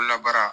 Ko labaara